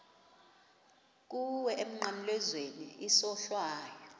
kuwe emnqamlezweni isohlwayo